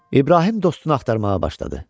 İbrahim dostunu axtarmağa başladı.